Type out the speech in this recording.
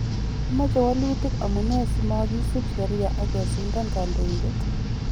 Imoche wolutik amunee si mogisib sheria ag kesindan kodoindet?